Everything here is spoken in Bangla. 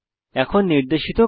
এখন নির্দেশিত কাজ